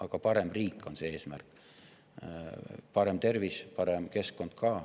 Eesmärk on parem riik, parem tervis, parem keskkond ka.